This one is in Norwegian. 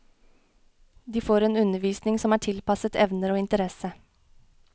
De får en undervisning som er tilpasset evner og interesse.